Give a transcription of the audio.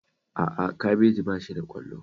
A'a, kabeji ba shi da ƙwallo